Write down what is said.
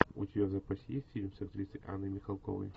у тебя в запасе есть фильм с актрисой анной михалковой